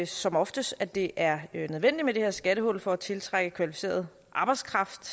som oftest at det er nødvendigt med det her skattehul for at tiltrække kvalificeret arbejdskraft